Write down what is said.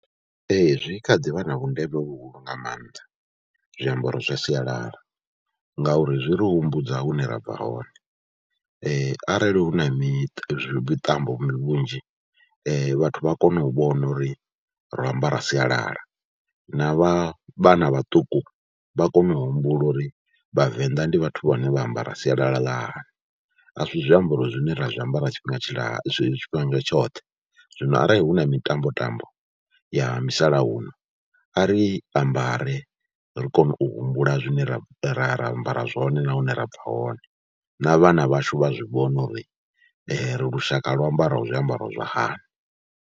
Ee, zwi kha ḓi vha na vhundeme vhuhulu nga maanḓa zwiambaro zwa sialala ngauri zwi ri humbudza hune ra bva hone, arali hu na mi miṱambo vhunzhi vhathu vha a kone u vhona uri ro ambara sialala na vha vhana vhaṱuku vha kone u humbula uri Vhavenḓa ndi vhathu vhane vha ambara sialala ḽa hani. A si zwiambaro zwine ra zwiambara tshifhinga tshila, tshifhinga tshoṱhe, zwino arali hu na mitambo tambo ya musalauno a ri ambare ri kone u humbula zwine ra ra ra ambara zwone na hune ra bva hone, na vhana vhashu vha zwi vhone uri ri lushaka lwo ambaraho zwiambaro zwa hani.